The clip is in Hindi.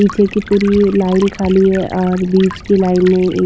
पीछे की पूरी लाइन खाली है और बीच की लाइन में ये--